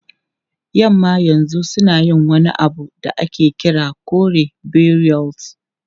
Yamma yanzu suna yin wani abu da ake kira kore burials.